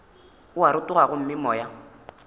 o a rotoga gomme moya